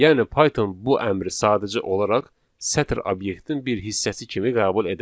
Yəni Python bu əmri sadəcə olaraq sətr obyektin bir hissəsi kimi qəbul edəcək.